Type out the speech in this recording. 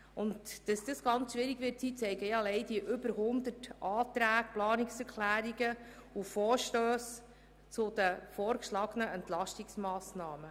Dass dies schwierig sein wird, zeigen allein die über 100 Anträge, Planungserklärungen und Vorstösse zu den vorgeschlagenen Entlastungsmassnahmen.